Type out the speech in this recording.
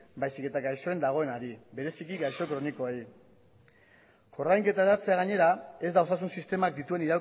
baizik eta gaixoen dagoenari bereziki gaixo kronikoei ordainketa aldatzea gainera ez da osasun sistemak dituen